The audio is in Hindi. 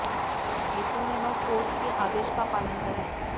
ऐसे में वह कोर्ट के आदेश का पालन करे